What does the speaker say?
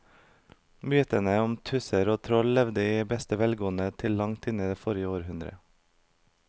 Mytene om tusser og troll levde i beste velgående til langt inn i forrige århundre.